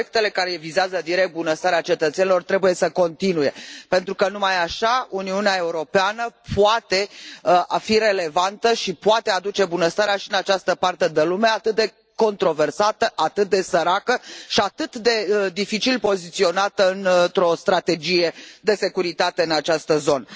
Proiectele care vizează direct bunăstarea cetățenilor trebuie să continue, pentru că, numai așa, Uniunea Europeană poate să fie relevantă și poate aduce bunăstarea și în această parte de lume atât de controversată, atât de săracă și atât de dificil poziționată într o strategie de securitate în această zonă.